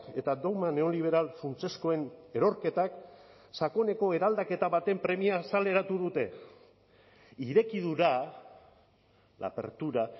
eta dogma neoliberal funtsezkoen erorketak sakoneko eraldaketa baten premia azaleratu dute irekidura la apertura